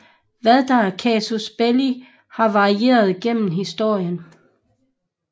Hvad der er casus belli har varieret gennem historien